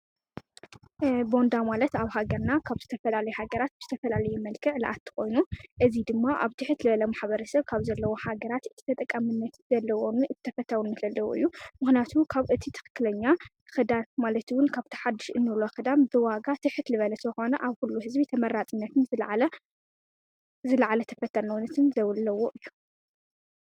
ቦንዳ ማለት ኣብ ሃገርና ካብ ዝተፈላለየ ሃገራት ብዝተፈላለዩ መልክዕ ዝኣቱ ኮይኑ ፣እዚ ድማ ኣብ ትሕት ዝበለ ማሕበረሰብ ካብ ዘለው ሃገራት ተጠቃምነት ዘለዎምን ተፈታውነት ዘለዎ እዩ ምክንያቱ ካብ ትክክለኛ ክዳን ማለት ውን ካብቲ ሓድሽ እንብሎ ክዳን ብዋጋ ትሕት ኣብ ኩሉ ህዝቢ ተማርፅነትን ዝላዕለ ተፈታውነትን ዘለዎ እዩ።